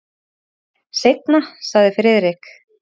Seinna sagði Friðrik.